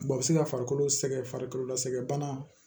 a bɛ se ka farikolo sɛgɛn farikolo la sɛgɛn bana